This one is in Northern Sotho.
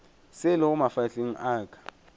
se lego mafahleng a ka